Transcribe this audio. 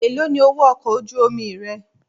Èlóò ni owó ọkọ̀ ojú omi rẹ?